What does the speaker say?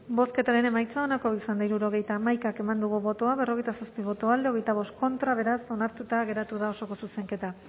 bozketaren emaitza onako izan da hirurogeita hamabi eman dugu bozka berrogeita zazpi boto alde veinticinco contra beraz onartuta geratu da osoko zuzenketa